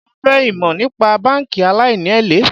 Mo fẹ́ ìmò nípa báńkì aláìní èlé.